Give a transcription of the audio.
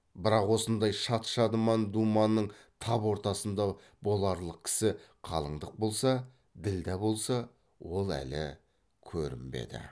бірақ осындай шат шадыман думанның тап ортасында боларлық кісі қалыңдық болса ділдә болса ол әлі көрінбеді